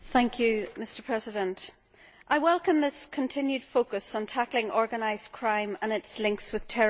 Mr President, I welcome this continued focus on tackling organised crime and its links with terrorism.